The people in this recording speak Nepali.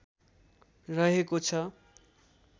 रहेको छ